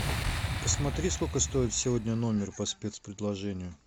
посмотри сколько стоит сегодня номер по спец предложению